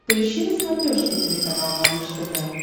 поищи на смотрешке телеканал малыш тв